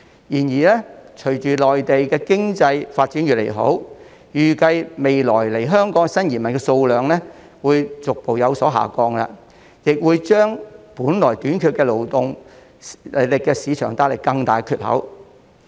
然而，隨着內地經濟發展越來越好，預計未來來港的新移民數量將會逐步下降，為本來已短缺的勞動力市場帶來更大缺口。